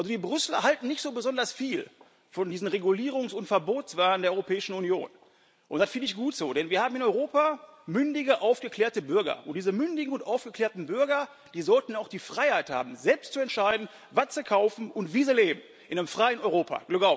Die Brüsseler halten nicht so besonders viel von diesem Regulierungs und Verbotswahn der Europäischen Union, und das finde ich gut so. Denn wir haben in Europa mündige, aufgeklärte Bürger, und diese mündigen und aufgeklärten Bürger sollten auch die Freiheit haben, selbst zu entscheiden, was sie kaufen und wie sie leben in einem freien Europa.